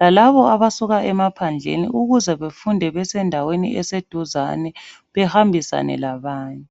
lalabo abasuka emaphandleni ukuze befunde besendaweni eseduzane behambisane labanye.